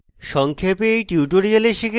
সংক্ষেপে